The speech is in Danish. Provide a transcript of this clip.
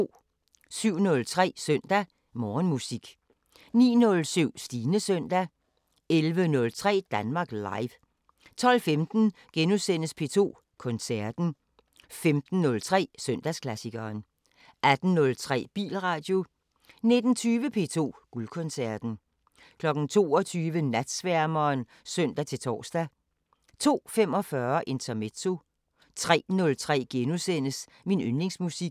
07:03: Søndag Morgenmusik 09:07: Stines søndag 11:03: Danmark Live 12:15: P2 Koncerten * 15:03: Søndagsklassikeren 18:03: Bilradio 19:20: P2 Guldkoncerten 22:00: Natsværmeren (søn-tor) 02:45: Intermezzo 03:03: Min yndlingsmusik *